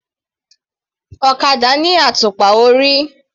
Ọ̀kadà ní àtùpà orí.